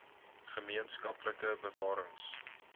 gemeen skaplike bewarings